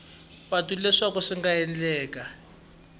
patu leswaku swi nga endleka